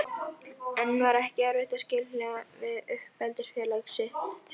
En var ekki erfitt að skilja við uppeldisfélag sitt?